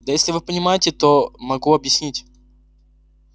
да если вы не понимаете то могу объяснить